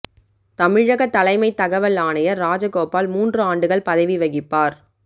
தமிழக தலைமை தகவல் ஆணையர் ராஜகோபால் மூன்று ஆண்டுகள் பதவி வகிப்பார்